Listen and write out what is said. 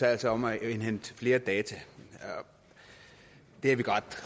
altså om at indhente flere data og det er vi